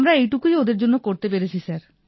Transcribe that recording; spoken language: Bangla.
আমরা এইটুকুই ওঁদের জন্য করতে পেরেছি স্যার